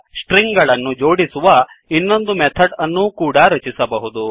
string ಗಳನ್ನು ಜೋಡಿಸುವ ಇನ್ನೊಂದು ಮೆಥಡ್ ಅನ್ನು ಕೂಡ ರಚಿಸಬಹುದು